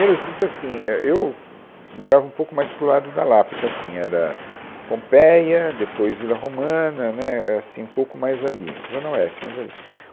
Então assim, é eu, morava um pouco mais para o lado da Lapa, então assim, era, Pompeia, depois Vila Romana, né, assim, um pouco mais ali, Zona Oeste, mais ali.